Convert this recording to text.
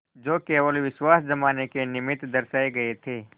जो केवल विश्वास जमाने के निमित्त दर्शाये गये थे